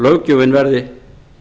löggjöfin verði